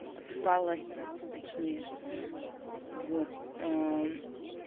отсыпалась точнее вот э м